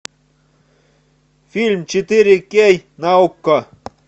фильм четыре кей на окко